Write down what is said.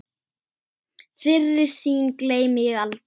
Þeirri sýn gleymi ég aldrei.